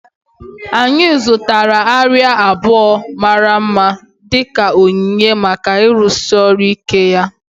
Anyị zụtara arịa abụọ mara mma dị ka onyinye maka ịrụsi ọrụ ike ya